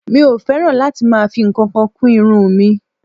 Mi ò fẹ́ràn láti máa fi ǹkankan kún irun mi